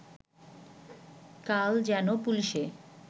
কাল যেন পুলিশে